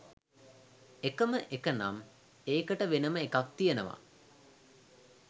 එකම එකනම් ඒකට වෙනම එකක් තියනවා